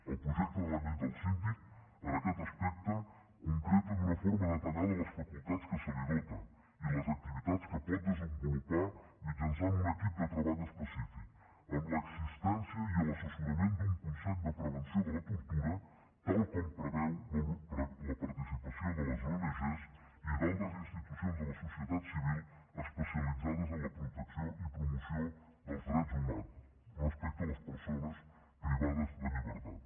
el projecte de la llei del síndic en aquest aspecte concreta d’una forma detallada les facultats de què es dota i les activitats que pot desenvolupar mitjançant un equip de treball específic amb l’existència i l’assessorament d’un consell de prevenció de la tortura tal com preveu la participació de les ong i d’altres institucions de la societat civil especialitzades en la protecció i promoció dels drets humans respecte a les persones privades de llibertat